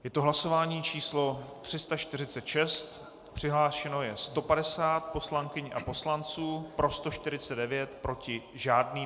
Je to hlasování číslo 346, přihlášeno je 150 poslankyň a poslanců, pro 149, proti žádný.